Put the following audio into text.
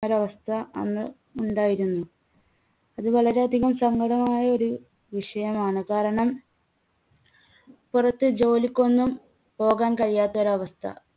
ഒരവസ്ഥ അന്ന് ഉണ്ടായിരുന്നു. അത് വളരെയധികം സങ്കടമായ ഒരു വിഷയമാണ്. കാരണം പുറത്ത് ജോലിക്കൊന്നും പോകാൻ കഴിയാത്തൊരവസ്ഥ.